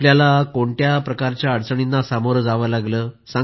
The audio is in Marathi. आपल्याला कोणत्याही प्रकारच्या अडचणींना सामोरं जावं लागलं का